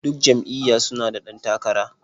Duk jam'iyya su na da ɗan takara.